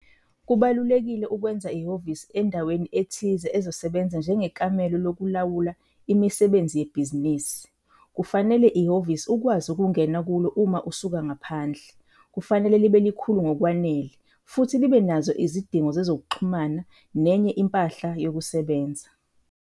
Kubalulekile ukwenza ihhovisi endaweni ethize ezosebenza njengekamelo lokulawula imisebenzi yebhizinisi. Kufanele, ihhovisi ukwazi ukungena kulo uma usuka ngaphandle, kufanele libe likhulu ngokwanele futhi libe nazo izidingo zezokuxhumana nenye impahla yokusebenza.